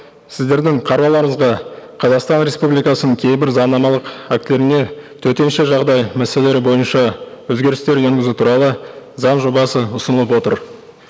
сіздердің қарауларыңызға қазақстан республикасының кейбір заңнамалық актілеріне төтенше жағдай мәселелері бойынша өзгерістер енгізу туралы заң жобасы ұсынылып отыр